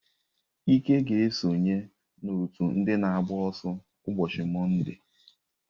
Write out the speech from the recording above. Ike ga-esonye n'otu ndị na-agba ọsọ ụbọchị Mọnde.